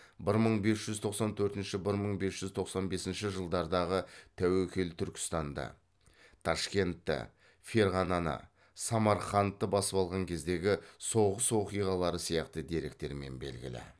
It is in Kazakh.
бір мың бес жүз тоқсан төртінші бір мың бес жүз тоқсан бесінші жылдардағы тәуекел түркістанды ташкентті ферғананы самарқандты басып алған кездегі соғыс оқиғалары сияқты деректермен белгілі